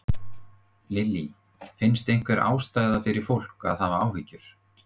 Lillý: Finnst einhver ástæða fyrir fólk að hafa áhyggjur?